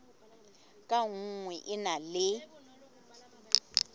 ka nngwe e na le